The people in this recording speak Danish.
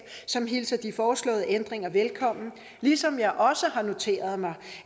som hilser de foreslåede ændringer velkommen ligesom jeg også har noteret mig